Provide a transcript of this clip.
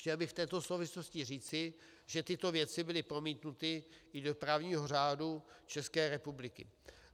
Chtěl bych v této souvislosti říci, že tyto věci byly promítnuty i do právního řádu České republiky.